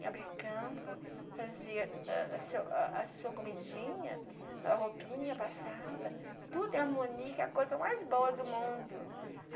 Em Abricampo, fazia a a sua a a sua comidinha, a roupinha passava, tudo em harmonia, que é a coisa mais boa do mundo.